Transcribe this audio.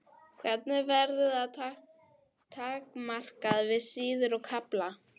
Hvernig verður það takmarkað við síður og kafla?